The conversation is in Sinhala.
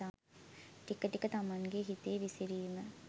ටික ටික තමන්ගේ හිතේ විසිරීම